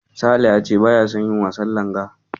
Sale ya ce baya son yin wasan Langa.